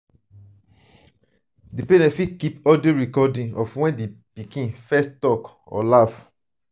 di parent fit keep audio recording of when di pikin first talk or laugh